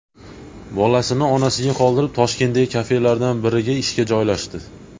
Bolasini onasiga qoldirib, Toshkentdagi kafelardan biriga ishga joylashdi.